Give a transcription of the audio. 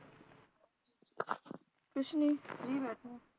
ਕੁਛ ਨੀ ਫਰੀ ਬੈਠੇ ਆ